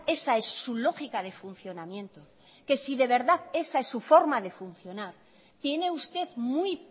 esa es su lógica de funcionamiento que si de verdad esa es su forma de funcionar tiene usted muy